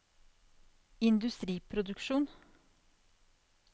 industriproduksjon